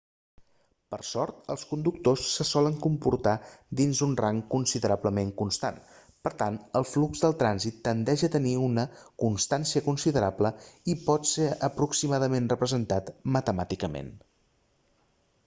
per sort els conductors se solen comportar dins un rang considerablement constant per tant el flux del trànsit tendeix a tenir una constància considerable i pot ser aproximadament representat matemàticament